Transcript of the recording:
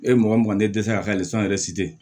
E ye mɔgɔ mɔgɔ e dɛsɛra ka yɛrɛ